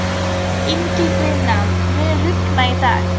Ingifinna, mun rigna í dag?